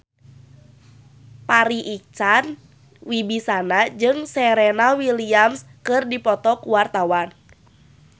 Farri Icksan Wibisana jeung Serena Williams keur dipoto ku wartawan